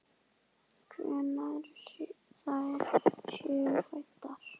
Hvenær þær séu fæddar!